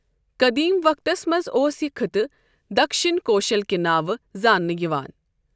قدیم وقتس منزاوس یہ خٕطہٕ دکشِن كوشل کہِ نٲوٕ زانٛنہٕ یوان ۔